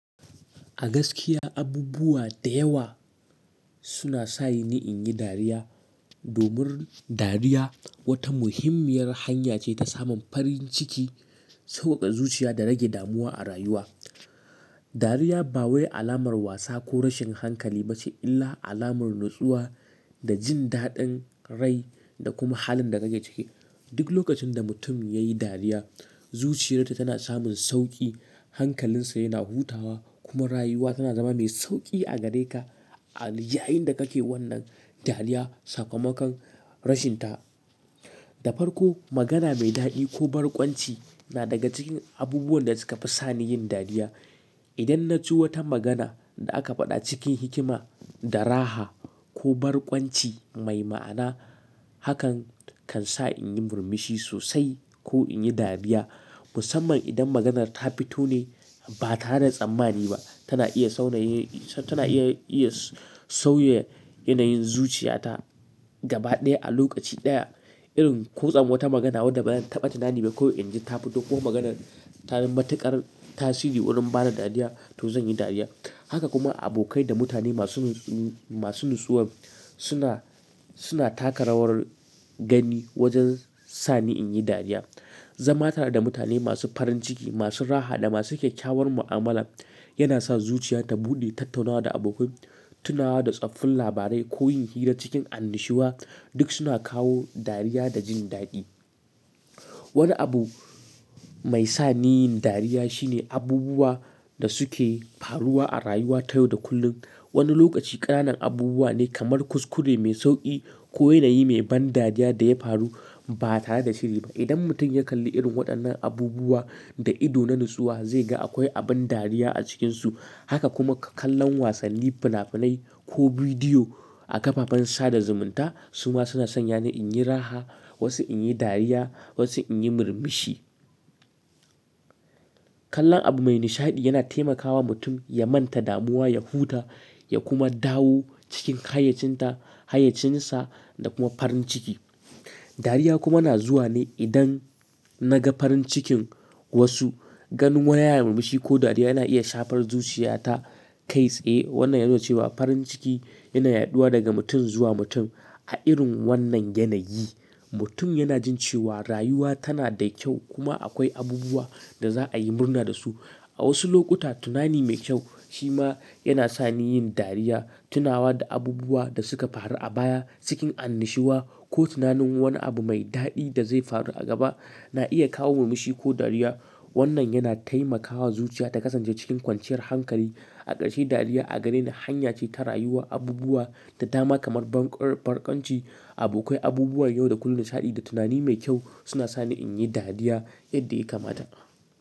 A gaskiya, abubuwa da yawa suna sa ni in yi dariya. Domin dariya wata muhimmiyar hanya ce ta samun farin ciki, sauƙaƙa zuciya da rage damuwa a rayuwa. Dariya ba wai alamar wasa ko rashin hankali ba ce, illa alamar natsuwa da jin daɗin rai da kuma halin da kake ciki. Duk lokacin da mutum ya yi dariya, zuciyarta tana samun sauƙi, hankalinsa yana hutawa kuma rayuwa tana zama mai sauƙi a gare ka a yayinda kake wannan dariya sakamakon rashin ta. Dafar ko magana mai daɗi ko barkwanci na daga cikin abubuwan da suka fi sa ni yin dariya. Idan na ji wata magana da aka faɗa cikin hikima, da raha ko barkwanci mai ma'ana, hakan kan sa in yi murmushi sosai ko in yi dariya. Musamman idan maganar ta fito ne ba tare da tsammani ba, tana iya sauya yanayin zuciyata gaba ɗaya a lokaci ɗaya. Irin kwatsam wata magana wadda bayan taɓata nane mi kawai in ji ta fito kuma maganar ta na matuƙar tasiri wurin bada dariya, to zan yi dariya. Haka kuma abokai da mutane masu natsuwa suna taka rawar gani wajen sa ni in yi dariya. Zama tare da mutane masu farin ciki, masu raha da masu kyakkyawar mu'amala yana sa zuciyata buɗe. Tattaunawa da abokai, tunawa da tsoffin labarai ko yin hira cikin annashuwa duk suna kawo dariya da jin daɗi. Wani abu mai sa ni yin dariya shine abubuwa da suke faruwa a rayuwa ta yau da kullum. Wani lokaci ƙananan abubuwa ne kamar kuskure mai sauƙi ko yanayi mai ban dariya da ya faru ba tare da shiri ba. Idan mutum ya kalli irin waɗannan abubuwa da ido na natsuwa, zai ga akwai abin dariya a cikinsu. Haka kuma kallon wasanni, fina-finai ko bidiyo a kafafen sada zumunta su ma suna sanya ni in yi raha, wasu in yi dariya, wasu in yi murmushi. Kallon abu mai nishaɗi yana taimakawa mutum ya manta damuwa, ya huta ya kuma dawo cikin hayaycinsa da kuma farin ciki. Dariya kuma na zuwa ne idan na ga farin cikin wasu. Ganin wani yana murmushi ko dariya yana iya shafar zuciya ta kai tsaye. Wannan yana nufar cewa farin ciki yana yaɗuwa daga mutum zuwa mutum. A irin wannan yanayi, mutum yana jin cewa rayuwa tana da kyau kuma akwai abubuwa da za'a yi murna da su. A wasu lokuta, tunani mai kyau shi ma yana sa ni yin dariya. Tunawa da abubuwa da suka faru a baya cikin annushiwa ko tunanin wani abu mai daɗi da zai faru a gaba na iya kawo murmushi ko dariya. Wannan yana taimakawa zuciya ta kasance cikin kwanciyar hankali. A ƙarshe, dariya a gare ni hanya ce ta rayuwa abubuwa da dama kamar barkwanci, abokai, abubuwan yau da kullum nishaɗi da tunani mai kyau suna sa ni in yi dariya yadda ya kamata.